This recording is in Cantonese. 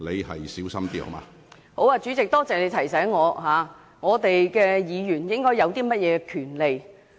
好的，主席，多謝你提醒我議員應有甚麼權利。